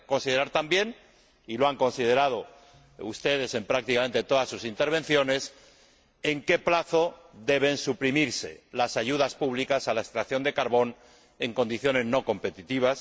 Hay que considerar también y lo han considerado ustedes en prácticamente todas sus intervenciones en qué plazo deben suprimirse las ayudas públicas a la extracción de carbón en condiciones no competitivas.